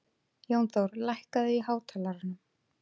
Jónþór, lækkaðu í hátalaranum.